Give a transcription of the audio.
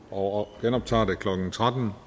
og genoptager det klokken tretten